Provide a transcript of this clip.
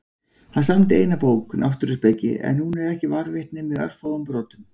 Hann samdi eina bók, Náttúruspeki, en hún er ekki varðveitt nema í örfáum brotum.